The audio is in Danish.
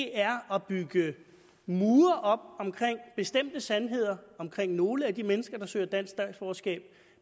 er at bygge mure op omkring bestemte sandheder omkring nogle af de mennesker der søger dansk statsborgerskab